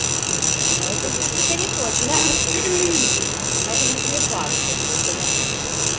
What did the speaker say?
но это же сука неточное это говорит не факт поэтому